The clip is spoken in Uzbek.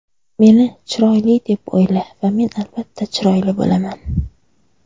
meni chiroyli deb o‘yla va men albatta chiroyli bo‘laman.